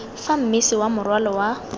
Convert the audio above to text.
fa mmese wa morwalo wa